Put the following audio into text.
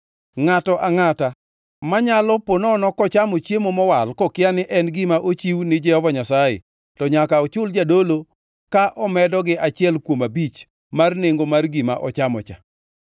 “ ‘Ngʼato angʼata manyalo ponono kochamo chiemo mowal kokia ni en gima ochiw ni Jehova Nyasaye, to nyaka ochul jadolo ka omedo gi achiel kuom abich mar nengo mar gima ochamo cha.